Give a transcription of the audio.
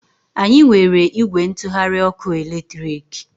Anyị nwere ìgwè ntụgharị ọkụ eletriki.